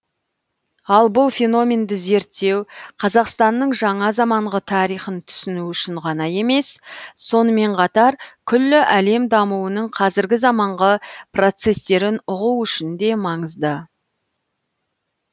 ал бұл феноменді зерттеу қазақстанның жаңа заманғы тарихын түсіну үшін ғана емес сонымен қатар күллі әлем дамуының қазіргі заманғы процестерін ұғу үшін де маңызды